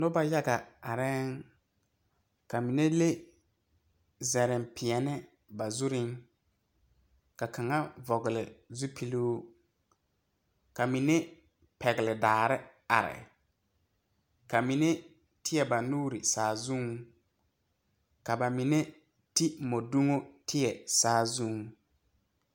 Noba yaga areɛŋ. Ka mene le zɛreŋ piɛni ba zureŋ. Ka kanga vogle zupuluŋ. Ka mene pɛgle daare are. Ka mene teɛ ba nuure saazuŋ. Ka ba mene te mɔduŋo teɛ saazuŋ.